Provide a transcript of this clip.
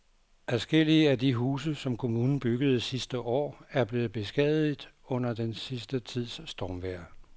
Adskillige af de huse, som kommunen byggede sidste år, er blevet beskadiget under den sidste tids stormvejr.